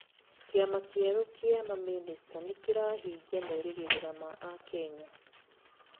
Kĩama kĩerũ kĩa mamĩnĩcita nĩ rĩrahingia merigĩrĩria ma akenya